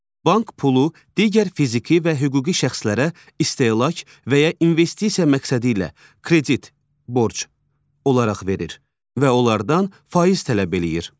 Bank pulu digər fiziki və hüquqi şəxslərə istehlak və ya investisiya məqsədi ilə kredit, borc olaraq verir və onlardan faiz tələb eləyir.